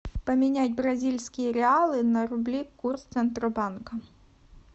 поменять бразильские реалы на рубли курс центробанка